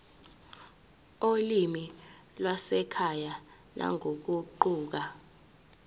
olimini lwasekhaya nangokuguquka